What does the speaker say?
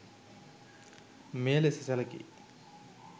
මෙය ලෙස සැලකේ.